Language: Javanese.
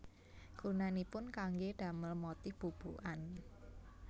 Gunanipun kanggé damel motif bubukan